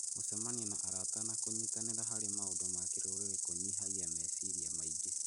Gũcemania na arata na kũnyitanĩra harĩ maũndũ ma kĩrũrĩrĩ kũnyihagia meciria maingĩ.